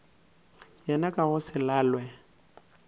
yena ka go se lalwe